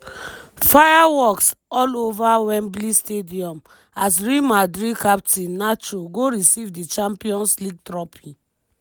fireworks all ova wembley stadium as real madrid captain nacho go receive di champions league trophy.